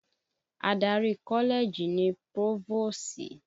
Adarí kọ́lẹ́ẹ̀jì ni Pófóòsì